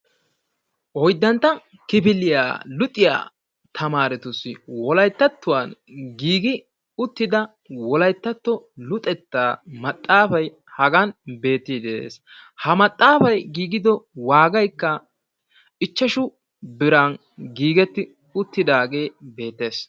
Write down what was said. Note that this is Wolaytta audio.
Oyddantta kifiliya luxiya tamaaretussi wolayttatattuwan giigi uttida wolayttatto luxettaa maxaafay hagan beettiiddi de'ees. Ha maxaafay giigido waagaykka ichchashu biran giigetti uttidaagee beettees.